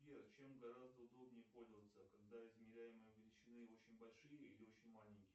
сбер чем гораздо удобнее пользоваться когда измеряемые величины очень большие или очень маленькие